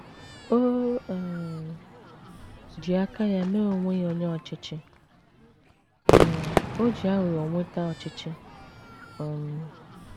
O um ji aka ya mee onwe ya onye ọchịchị, um o ji aghụghọ nweta ọchịchị. um